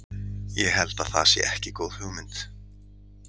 Ég held að það sé ekki góð hugmynd.